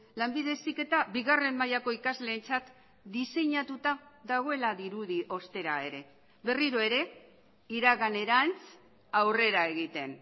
lanbide heziketa bigarren mailako ikasleentzat diseinatuta dagoela dirudi ostera ere berriro ere iraganerantz aurrera egiten